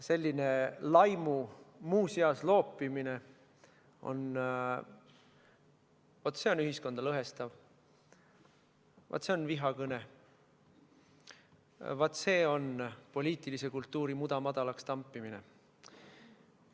Selline laimu muuseas loopimine – vaat see on ühiskonda lõhestav, vaat see on vihakõne, vaat see on poliitilise kultuuri mudamadalaks tampimine.